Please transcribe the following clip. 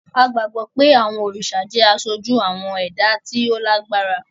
A gbàgbó pe awọn oriṣa jẹ aṣoju awọn ẹda ti o lágbára.